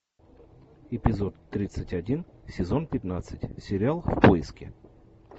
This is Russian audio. эпизод тридцать один сезон пятнадцать сериал в поиске